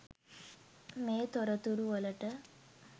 මේ තොරතුරු වලට